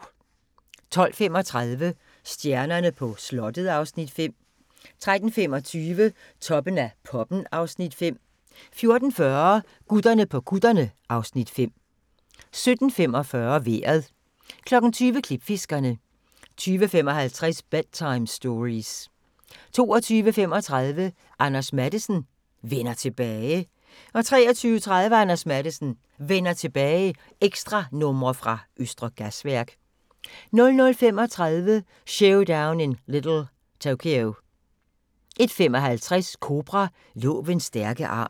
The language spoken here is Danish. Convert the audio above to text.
12:35: Stjernerne på slottet (Afs. 5) 13:25: Toppen af poppen (Afs. 5) 14:40: Gutterne på kutterne (Afs. 5) 17:45: Vejret 20:00: Klipfiskerne 20:55: Bedtime Stories 22:35: Anders Matthesen: Vender tilbage 23:30: Anders Matthesen: Vender tilbage – ekstranumre fra Østre Gasværk 00:35: Showdown In Little Tokyo 01:55: Cobra – Lovens stærke arm